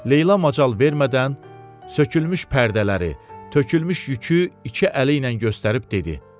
Leyla macal vermədən sökülmüş pərdələri, tökülmüş yükü iki əli ilə göstərib dedi: